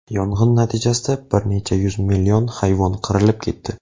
Yong‘in natijasida bir necha yuz million hayvon qirilib ketdi.